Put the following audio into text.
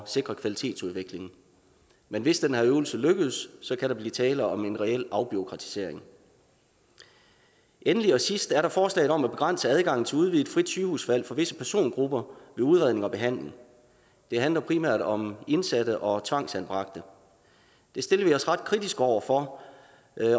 sikre kvalitetsudviklingen men hvis den her øvelse lykkes kan der blive tale om en reel afbureaukratisering endelig og sidst er der forslaget om at begrænse adgangen til udvidet frit sygehusvalg for visse persongrupper ved udredning og behandling det handler primært om indsatte og tvangsanbragte det stiller vi os ret kritiske over for